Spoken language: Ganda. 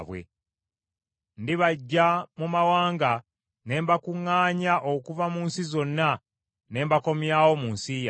“ ‘Ndibaggya mu mawanga ne mbakuŋŋaanya okuva mu nsi zonna ne mbakomyawo mu nsi yammwe.